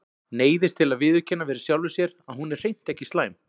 Neyðist til að viðurkenna fyrir sjálfri sér að hún er hreint ekki slæm.